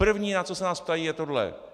První, na co se nás ptají, je tohle.